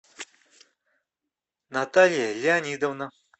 наталья леонидовна